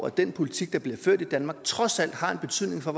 den politik der bliver ført i danmark trods alt har en betydning for